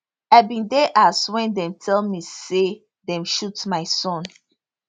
i bin dey house wen dem tell me say dem shoot my son